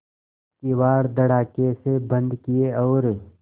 किवाड़ धड़ाकेसे बंद किये और